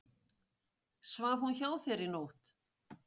Svaf hún hjá þér í nótt?